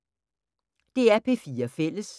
DR P4 Fælles